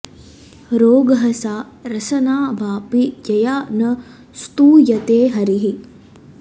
रोगः सा रसना वापि यया न स्तूयते हरिः